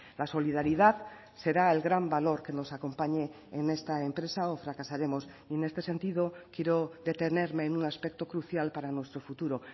la solidaridad será el gran valor que nos acompañe en esta empresa o fracasaremos y en este sentido quiero detenerme en un aspecto crucial para nuestro futuro